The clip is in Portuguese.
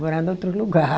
Morar em outro lugar.